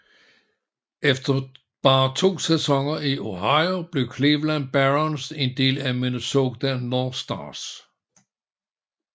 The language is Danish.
Efter bare to sæsoner i Ohio blev Cleveland Barons en del af Minnesota North Stars